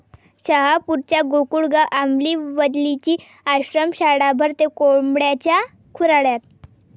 शहापूरच्या गोकुळगाव आंबिवलीची आश्रमशाळा भरते कोंबड्यांच्या खुराड्यात